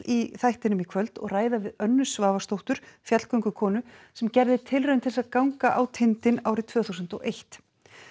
í þættinum í kvöld og ræða við Önnu Svavarsdóttur fjallgöngukonu sem gerði tilraun til þess að ganga á tindinn árið tvö þúsund og eitt